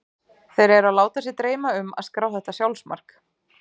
Þeir eru að láta dreyma sig um að skrá þetta sjálfsmark.